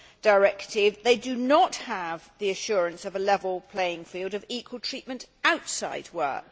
directive, they do not have the assurance of a level playing field of equal treatment outside work.